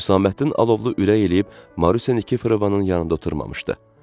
Hüsaməddin Alovlu ürək eləyib Marusiya Nikeforovanın yanında oturmamışdı.